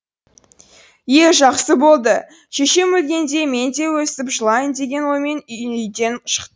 е жақсы болды шешем өлгенде мен де өстіп жылайын деген оймен үйден шық